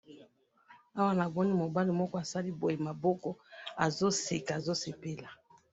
awa namoni mobali moko asali boye maboko azo seka azo sepela